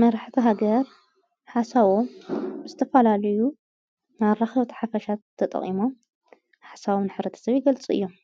መራሕታ ሃገር ሓሳቦም ዝተፋላልዩ መራኸብት ሓፈሻት ተጠቕሞ ሓሳዊ ንኅረት ሰብ ይገልጹ እዮም